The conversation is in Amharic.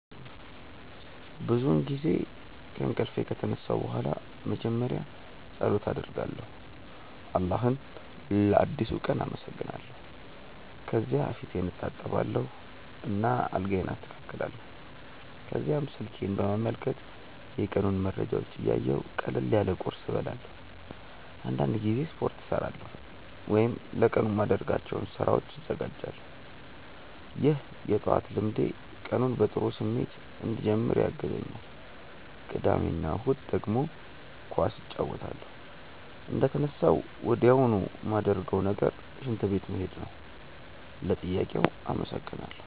ብዙውን ጊዜ ከእንቅልፌ ከተነሳሁ በኋላ መጀመሪያ ፀሎት አደርጋለሁ አላህን ለአዲሱ ቀን አመሰግናለሁ። ከዚያ ፊቴን እታጠባለሁ እና አልጋዬን አስተካክላለሁ። ከዚያም ስልኬን በመመልከት የቀኑን መረጃዎች እያየሁ ቀለል ያለ ቁርስ እበላለሁ። አንዳንድ ጊዜ ስፖርት እሠራለሁ ወይም ለቀኑ የማደርጋቸውን ስራዎች እዘጋጃለሁ። ይህ የጠዋት ልምዴ ቀኑን በጥሩ ስሜት እንድጀምር ያግዘኛል። ቅዳሜ እና እሁድ ደግሞ ኳስ እጫወታለሁ። እንደተነሳሁ ወዲያውኑ ማረገው ነገር ሽንት ቤት መሄድ ነው። ለጥያቄው አመሰግናለው።